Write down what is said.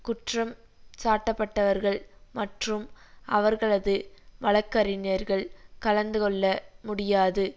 குற்றம் சாட்டப்பட்டவர்கள் மற்றும் அவர்களது வழக்கறிஞர்கள் கலந்து கொள்ளமுடியாது